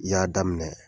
I y'a daminɛ